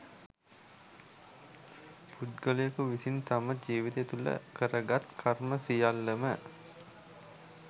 පුද්ගලයකු විසින් තම ජීවිතය තුළ කරගත් කර්ම සියල්ලම